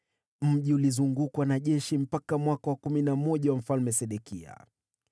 Mji ulizungukwa na jeshi mpaka mwaka wa kumi na moja wa utawala wa Mfalme Sedekia.